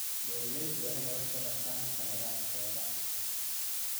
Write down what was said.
Beeraleydu waa inay wax ka bartaan khaladaadkooda.